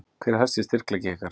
Hver er helsti styrkleiki ykkar?